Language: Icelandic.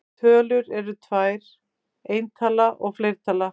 Tölur eru tvær: eintala og fleirtala.